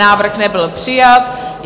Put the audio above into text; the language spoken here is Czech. Návrh nebyl přijat.